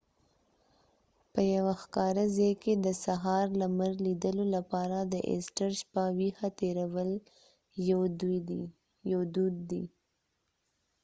په یوه ښکاره ځای کې د سهار لمر لیدلو لپاره د ایسټر شپه ویښه تېرول یو دود دی